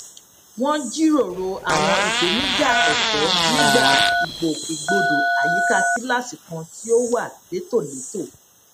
wọn jíròrò àwọn ìpèníjà ẹkọ nígbà ìgbòkègbodò àyíká kíláàsì kan tí ó wà létòlétò